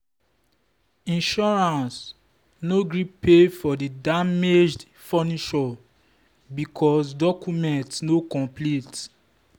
insurance no gree pay for the damaged furniture because documents no complete.